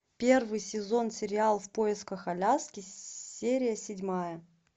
первый сезон сериал в поисках аляски серия седьмая